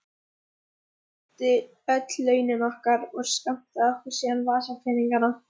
Pabbi hirti öll launin okkar og skammtaði okkur síðan vasapeninga.